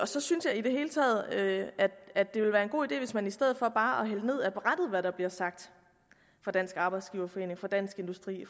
så synes jeg i det hele taget at det ville være en god idé hvis man i stedet for bare at hvad der bliver sagt af dansk arbejdsgiverforening dansk industri